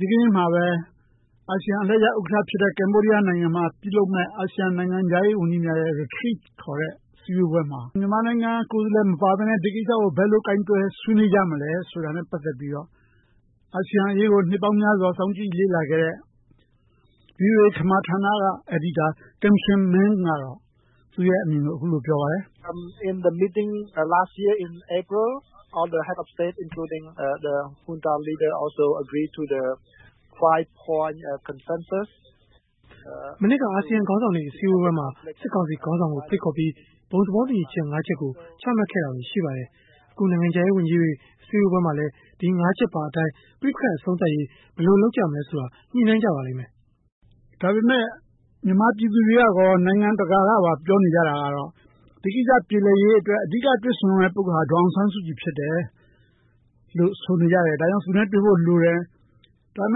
ဒီကနေ့မှာပဲ အာဆီယံအလှည့်ကျ ဥက္ကဌဖြစ်တဲ့ ကမ္ဘောဒီယားနိုင်ငံ မှာ ပြု့လုပ်မဲ့ အာဆီယံနိုင်ငံခြားရေးဝန်ကြီးများ ရဲ့ Retreat ခေါ်တဲ့ အစည်းအဝေးမှာ မြန်မာနိုင်ငံ ကိုယ်စားလှယ် မပါပဲနဲ့ ဒီကိစ္စကို ဘယ်လိုကိုင်တွယ် ဆွေးနွေးကြမလဲဆိုတာ နဲ့ ပတ်သက်ပြီးတော့ အာဆီယံအရေးကို နှစ်ပေါင်းများစွာ စောင့်ကြည့်လေ့လာခဲ့တဲ့ ဗွီအိုအေ ခမာဌာနက အယ်ဒီတာ Kimseng Men ကတော့ သူရဲ့အမြင်ကို အခုလိုပြောပါတယ် ။ မနှစ်က အာဆီယံခေါင်းဆောင်တွေ အစည်းအဝေးပွဲမှာ စစ်ကောင်စီခေါင်းဆောင်ကို ဖိတ်ခေါ်ပြီး ဘုံသဘောတူညီချက် ၅ ချက်ကို ချမှတ်ခဲ့တာတွေရှိပါတယ်။ အခုနိုင်ငံခြားရေးဝန်ကြီးတွေ အစည်းအဝေးမှာလည်း ပဋိပက္ခတွေ အဆုံးသတ်ရေး ဘယ်လိုလုပ်ကြမလဲဆိုတာ ညှိနှိုင်းကြပါလိမ့်မယ်။ ဒါပေမယ့် မြန်မာပြည်သူတွေကရော နိုင်ငံတကာ ကပါပြောနေကြတာက ဒီကိစ္စပြေလည်ရေး အဓိကတွေ့ဆုံရမယ့် ပုဂ္ဂိုလ်က ဒေါ်အောင်ဆန်းစုကြည်ဖြစ်တယ်လို့ ဆိုနေကြတယ်။ ဒါကြောင့် သူနဲ့တွေ့ဖို့လိုတယ်။ ဒါပေမ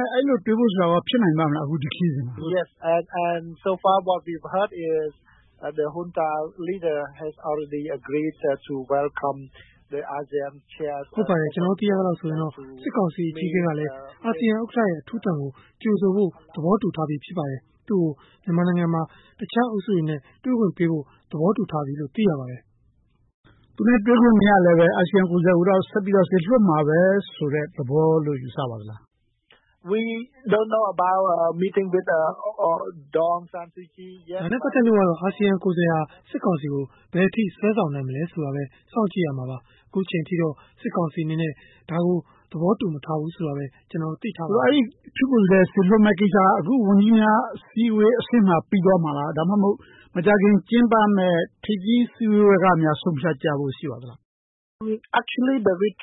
ယ့် အဲဒီလို တွေ့ဆုံဖို့ဆိုတာကော ဖြစ်နိုင်ပါမလား။ အခုဒီခရီးစဉ်မှာ ။ ဟုတ်ပါတယ်။ ကျနော်တို့ သိရသလောက်ဆိုရင် စစ်ကောင်စီ အကြီးအကဲကလည်း အာဆီယံဥက္ကဌ ရဲ့ အထူးသံကို ကြိုဆိုဖို့ သဘောတူထားပြီးဖြစ်ပါတယ်။ သူကို မြန်မာနိုင်ငံမှာ တခြားအုပ်စုတွေနဲ့ တွေ့ဖို့ သဘောတူထားပြီလို့သိရပါတယ်။ သူနဲ့ တွေ့ခွင့်မရလည်း အာဆီယံ ကိုယ်စားလှယ် ကိုတော့ စေလွှတ်မှာပဲလို့ ယူဆပါသလား။ ဒါနဲ့ပတ်သက်လို့ကတော့ အာဆီယံ ကိုယ်စားလှယ်ဟာ စစ်ကောင်စီကို ဘယ်အထိ စွဲဆောင်နိုင်မလဲဆိုတာကိုပဲ စောင့်ကြည့်ရမှာပါ။ ခုချိန်အထိတော့ စစ်ကောင်စီအနေနဲ့ ဒါကို သဘောတူမထားဘူးဆိုတာကိုပဲ သိထားပါတယ်။ အဲဒီအထူးကိုယ်စားလှယ်စေလွှတ်မယ့်ကိစ္စက အခုဝန်ကြီးများအစည်းအဝေးအဆင့် မှာပြီးသွားမှာလား။ ဒါမှမဟုတ် မကြာခင် ကျင်းပမယ့် ထိပ်သီးစည်းဝေးကများ ဆုံးဖြတ်ကြဖို့ရှိမလား။ ကျနော်စကားပြောဖ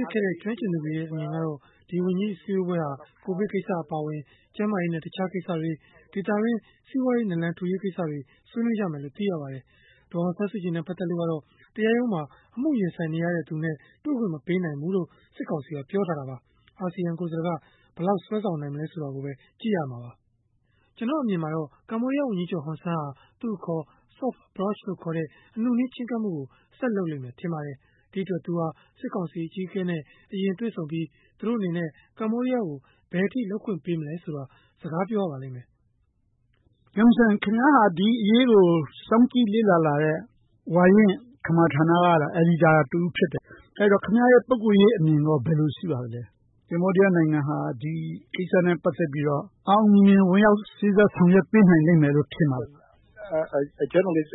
ြစ်ခဲ့တဲ့ ကျွမ်းကျင်သူတွေရဲ့ အမြင်ကတော့ ဒီဝန်ကြီးအစည်းအဝေးဟာ ကိုဗစ်ကိစ္စအပါအဝင် ဒေသတွင်း စီးပွားရေး နလန်ထူရေး ကိစ္စတွေကို ဆွေးနွေးကြမယ်လို့သိရပါတယ်။ ဒေါ်အောင်ဆန်းစုကြည် နဲ့ ပတ်သက်လို့ကတော့ တရားရုံးမှာ အမှုရင်ဆိုင်နေတဲ့သူနဲ့ တွေ့ခွင့်မပေးနိုင်ဘူးလို့ စစ်ကောင်စီ က ပြောထားတာပါ။ အာဆီယံကိုယ်စားလှယ်က ဘယ်လောက်ဆွဲဆောင်နိုင်မလဲဆိုတာကိုပဲ ကြည့်ရမှာပါ။ ကျနော်အမြင်တော့ ကမ္ဘောဒီယားဝန်ကြီးချုပ် ဟွန်ဆန်း ဟာ သူအခေါ် Soft Approch ခေါ်တဲ့ အနုနည်းချဉ်းကပ်မှုကို ဆက်လုပ်လိမ့်မယ်ထင်ပါတယ်။ ဒီအတွက် သူဟာ စစ်ကောင်စီအကြီးအကဲနဲ့ အရင်တွေ့ဆုံပြီး သူတို့အနေနဲ့ ကမ္ဘောဒီးယားကို ဘယ်အထိလုပ်ခွင့်ပေးမလဲဆိုတာကို စကားပြောရပါလိမ့်မယ်။ Kimseng ခင်ဗျားဟာ ဒီအရေးကို စောင့်ကြည့်လေ့လာလာတဲ့ ဝါရင့် ခမာဌာနက အယ်ဒီတာ တဦးဖြစ်တယ်။ အဲဒီတော့ ခင်ဗျားရဲ့ ပုဂ္ဂိုလ်ရေးအမြင်ကော ဘယ်လိုရှိပါသလဲ။ ကမ္ဘောဒီယားနိုင်ငံဟာ ဒီကိစ္စ အောင်အောင်မြင်မြင်နဲ့ စေ့စပ်ဆောင်ရွက်ပေးနိုင်မယ်ထင်ပါသလား။ ဒီအရေးကို နှစ်ပေါင်းများစွာ စောင့်ကြ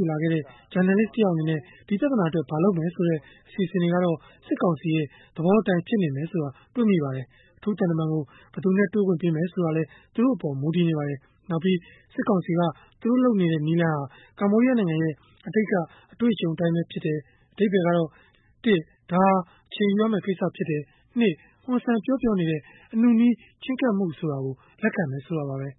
ည့်လာခဲ့တဲ့ ဂျာနယ်လစ်တယောက်အနေနဲ့ ဒီပြသာနာအတွက် ဘာလုပ်မယ်ဆိုတဲ့ အစီအစဉ်တွေကတော့ စစ်ကောင်စီရဲ့ သဘောအတိုင်းဆိုတာ တွေ့မိပါတယ်။ အထူးသံတမန်ကို ဘယ်သူနဲ့ တွေ့ခွင့်ပေးမယ်ဆိုတာကလည်း သူတို့အပေါ်မူတည်နေပါတယ်။ နောက်ပြီး စစ်ကောင်စီက သူတို့လုပ်နေတဲ့ နည်းလမ်းဟာ ကမ္ဘောဒီယားနိုင်ငံရဲ့ အတိတ်က အတွေ့အကြုံအတိုင်းပဲဖြစ်တယ် ။ အဓိပ္ပါယ်ကတော့ ဒါဟာအချိန်ယူရမယ့် ကိစ္စဖြစ်တယ်။ ဟွန်ဆန်ပြောပြောနေတဲ့ အနုနည်း ချဉ်းကပ်မှုကို လက်ခံတယ်ဆိုတာပါပဲ။